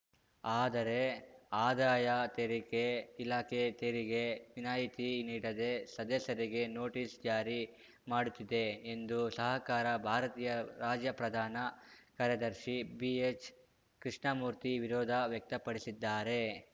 ಆದರೆ ಆದಾಯ ತೆರಿಗೆ ಇಲಾಖೆ ತೆರಿಗೆ ವಿನಾಯಿತಿ ನೀಡದೇ ಸದಸ್ಯರಿಗೆ ನೋಟಿಸ್‌ ಜಾರಿ ಮಾಡುತ್ತಿದೆ ಎಂದು ಸಹಕಾರ ಭಾರತಿಯ ರಾಜ್ಯ ಪ್ರಧಾನ ಕಾರ್ಯದರ್ಶಿ ಬಿಎಚ್‌ಕೃಷ್ಣಮೂರ್ತಿ ವಿರೋಧ ವ್ಯಕ್ತಪಡಿಸಿದ್ದಾರೆ